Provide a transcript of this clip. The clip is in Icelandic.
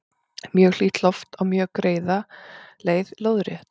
mjög hlýtt loft á mjög greiða leið lóðrétt